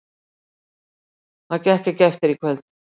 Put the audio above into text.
Það gekk ekki eftir í kvöld.